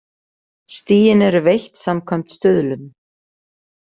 Stigin eru veitt samkvæmt stuðlum.